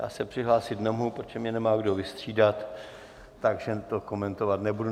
Já se přihlásit nemohu, protože mě nemá kdo vystřídat, takže to komentovat nebudu.